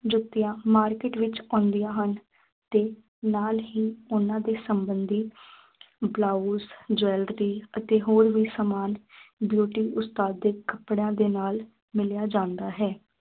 ਜੁੱਤੀਆਂ market ਵਿੱਚ ਆਉਂਦੀਆਂ ਹਨ ਅਤੇ ਨਾਲ ਹੀ ਉਨ੍ਹਾਂ ਦੇ ਸੰਬੰਧੀ ਬਲਾਊਸ jewelry ਅਤੇ ਹੋਰ ਵੀ ਸਾਮਾਨ beauty ਉਸਤਾਦਿਕ ਕੱਪੜਿਆਂ ਦੇ ਨਾਲ ਮਿਲਿਆ ਜਾਂਦਾ ਹੈ।